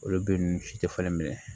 Olu bɛɛ nugu si tɛ falen minɛ